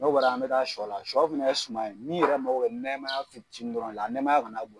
N'o bɔra ye an bɛ taa sɔ la. Sɔ fɛnɛ ye suman ye min yɛrɛ mago bɛ nɛmaya fitiini dɔrɔn la, nɛmaya kana bon